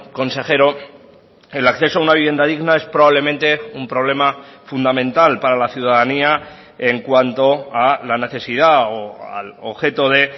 consejero el acceso a una vivienda digna es probablemente un problema fundamental para la ciudadanía en cuanto a la necesidad o al objeto de